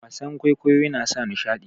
wasan kwaikwayo yana sa nishadi